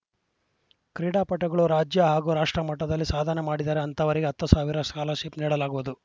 ಕ್ರೀಡಾಪಟುಗಳು ರಾಜ್ಯ ಹಾಗೂ ರಾಷ್ಟ್ರಮಟ್ಟದಲ್ಲಿ ಸಾಧನೆ ಮಾಡಿದರೆ ಅಂಥವರಿಗೆ ಹತ್ತು ಸಾವಿರ ಸ್ಕಾಲರ್‌ಶಿಪ್‌ ನೀಡಲಾಗುವುದು